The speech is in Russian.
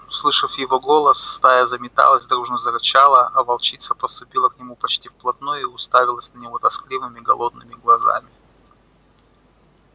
услышав его голос стая заметалась дружно зарычала а волчица подступила к нему почти вплотную и уставилась на него тоскливыми голодными глазами